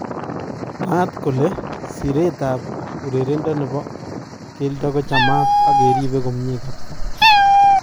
Mwaat kole Siret ap urerendo nepo keldo kuchamat ak keribe komie kapsaa